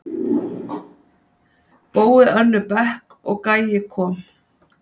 Bói Önnu Bekk og Gæi Kom.